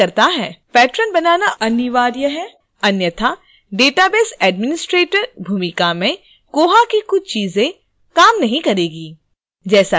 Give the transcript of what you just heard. patron बनाना अनिवार्य है अन्यथा database administrator भूमिका में koha की कुछ चीजें काम नहीं करेंगी